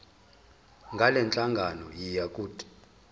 ngalenhlangano yiya kut